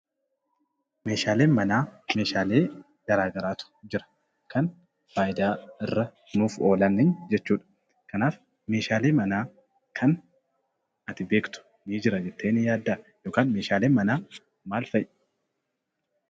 Meeshaaleen manaa meeshaalee gosa garaa garaatu jira. Kan faayidaa irra nuuf oolan jechuu dha. Kanaaf meeshaalee manaa kan beektu ni jira jettee ni yaaddaa yookiin meeshaaleen manaa maal fa'i?